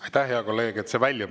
Aitäh, hea kolleeg!